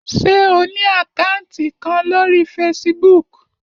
Ṣé o ní àkátì kan lórí Facebook?